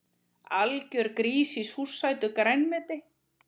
Algjör grís í súrsætu grænmeti